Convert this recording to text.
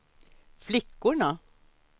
flickorna